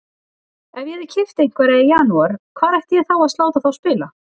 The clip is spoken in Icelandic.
Ef ég hefði keypt einhverja í janúar hvar ætti ég þá að láta þá spila?